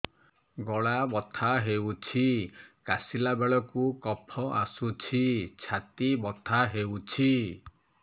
ଗଳା ବଥା ହେଊଛି କାଶିଲା ବେଳକୁ କଫ ଆସୁଛି ଛାତି ବଥା ହେଉଛି